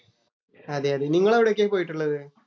അതെ അതെ നിങ്ങൾ എവിടെയൊക്കെയാ പോയിട്ടുള്ളത്?